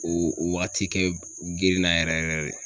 O waati kɛ girinna yɛrɛ yɛrɛ yɛrɛ de.